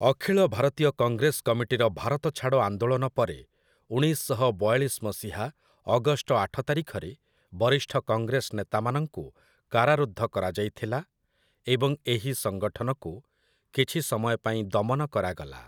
ଅଖିଳ ଭାରତୀୟ କଂଗ୍ରେସ କମିଟିର ଭାରତ ଛାଡ଼ ଆନ୍ଦୋଳନ ପରେ, ଉଣେଇଶ ଶହ ବୟାଳିଶ ମସିହା ଅଗଷ୍ଟ ଆଠ ତାରିଖରେ, ବରିଷ୍ଠ କଂଗ୍ରେସ ନେତାମାନଙ୍କୁ କାରାରୁଦ୍ଧ କରାଯାଇଥିଲା ଏବଂ ଏହି ସଂଗଠନକୁ କିଛି ସମୟ ପାଇଁ ଦମନ କରାଗଲା ।